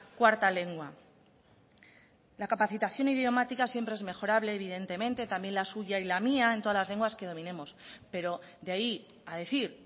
cuarta lengua la capacitación idiomática siempre es mejorable evidentemente también la suya y la mía en todas las lenguas que dominemos pero de ahí a decir